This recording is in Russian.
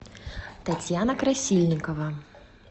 татьяна красильникова